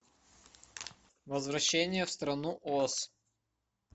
возвращение в страну оз